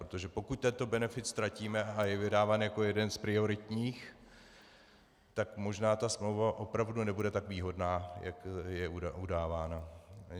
Protože pokud tento benefit ztratíme, a je vydáván jako jeden z prioritních, tak možná ta smlouva opravdu nebude tak výhodná, jak je udáváno.